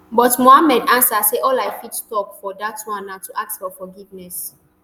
but muhammad ansa say all i fit tok for dat one na to ask for forgiveness